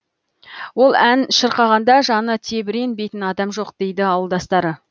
ол ән шырқағанда жаны тебіренбейтін адам жоқ дейді ауылдастары